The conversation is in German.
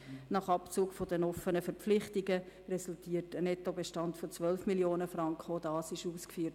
Nach Abzug der offenen Verpflichtungen resultiert ein Nettobestand von 12 Mio. Franken.